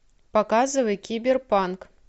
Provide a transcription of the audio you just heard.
показывай киберпанк